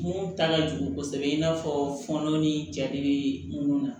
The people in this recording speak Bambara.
Mun ta ka jugu kosɛbɛ i n'a fɔ fɔnɔ ni ja de bɛ mun na